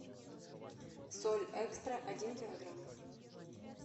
соль экстра один килограмм